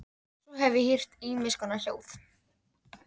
Svo hef ég heyrt ýmiss konar hljóð.